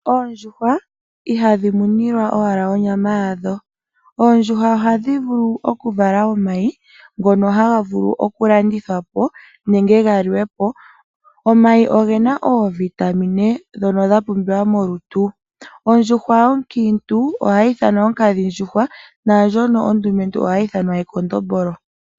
Oondjuhwa ihadhi munilwa owala onyama yadho, oondjuhwa ohadhi vulu oku vala omayi ngono haga vulu oku landithwa po nenge ga li we po. Omayi ogena oovitamine ndhono dha pumbiwa molutu. Ondjuhwa yonkiintu ohayi ithanwa onkadhindjuhwa naandjoka yondumentu ohayi ithanwa ekondombolo.